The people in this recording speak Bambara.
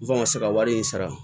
N kan ka se ka wari in sara